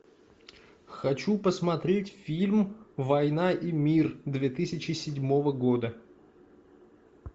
хочу посмотреть фильм война и мир две тысячи седьмого года